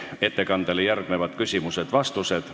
Ettekandele järgnevad küsimused ja vastused.